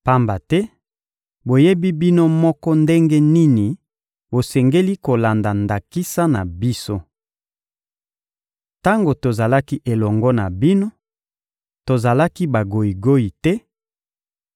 Pamba te boyebi bino moko ndenge nini bosengeli kolanda ndakisa na biso. Tango tozalaki elongo na bino, tozalaki bagoyigoyi te